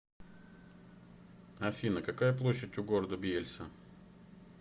афина какая площадь у города бьельса